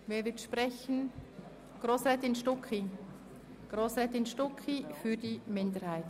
Kommissionssprecherin der FiKo-Minderheit.